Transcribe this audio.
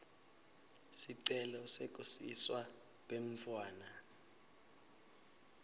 sicelo sekusiswa kwemntfwana